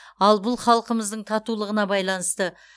ал бұл халқымыздың татулығына байланысты